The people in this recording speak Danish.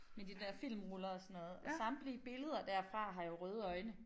Med de der filmruller og sådan noget og samtlige billeder derfra har jo røde øjne